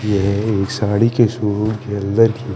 ये साडी के सुर के अल्लर ही--